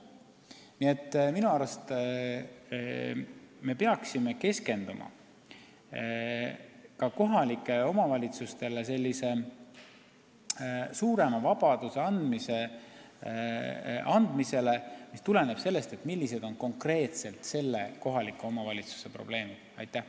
Nii et minu arust me peaksime keskenduma ka kohalikele omavalitsustele suurema vabaduse andmisele, et saaksime rohkem lähtuda kohalike omavalitsuste konkreetsetest probleemidest.